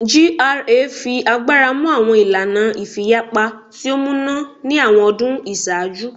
GRA fi agbara mu awọn ilana ifiyapa ti o muna ni awọn ọdun iṣaaju